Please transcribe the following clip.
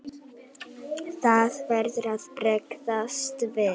Það verður að bregðast við.